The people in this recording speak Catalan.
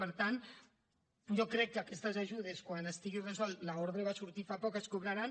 per tant jo crec que aquestes ajudes quan estigui resolt l’ordre va sortir fa poc es cobraran